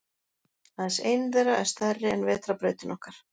Aðeins ein þeirra er stærri en Vetrarbrautin okkar.